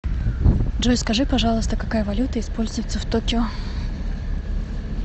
джой скажи пожалуйста какая валюта используется в токио